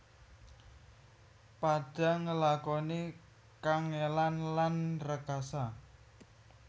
Padha ngelakoni kangèlan lan rekasa